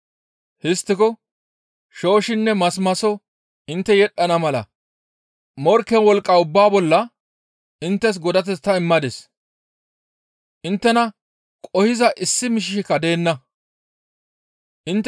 «Histtiko shooshshinne masimaso intte yedhdhana mala morkke wolqqa ubbaa bolla inttes godateth ta immadis; inttena qohiza issi miishshika deenna. Masmaso